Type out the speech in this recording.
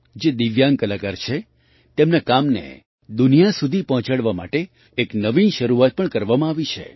જે દિવ્યાંગ કલાકાર છે તેમના કામને દુનિયા સુધી પહોંચાડવા માટે એક નવીન શરૂઆત પણ કરવામાં આવી છે